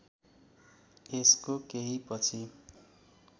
यसको केही पछि